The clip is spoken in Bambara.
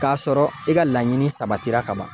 K'a sɔrɔ i ka laɲini sabatira ka ban